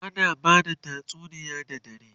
ana bada tatsuniya da dare